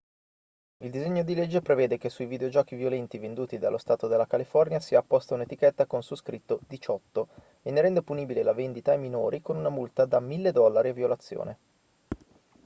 il disegno di legge prevede che sui videogiochi violenti venduti nello stato della california sia apposta un'etichetta con su scritto 18 e ne rende punibile la vendita ai minori con una multa da 1.000 dollari a violazione